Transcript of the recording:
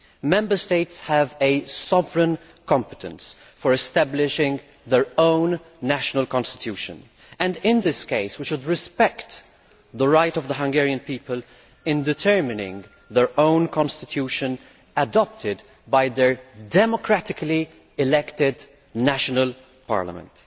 Member States have a sovereign competence for establishing their own national constitutions, and in this case, we should respect the right of the Hungarian people to determine their own constitution adopted by their democratically elected national parliament.